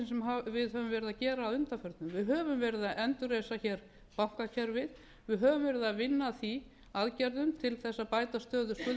sem við höfum verið að gera að undanförnu við höfum verið að endurreisa hér bankakerfið við höfum verið að vinna að því aðgerðum til þess að bæta stöðu skuldugra